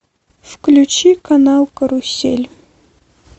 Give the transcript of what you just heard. включи канал карусель